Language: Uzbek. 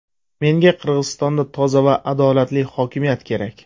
Menga Qirg‘izistonda toza va adolatli hokimiyat kerak.